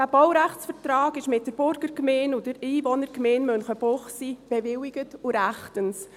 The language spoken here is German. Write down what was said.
Der Baurechtsvertrag wurde von der Burgergemeinde und der Einwohnergemeinde Münchenbuchsee bewilligt und ist rechtens.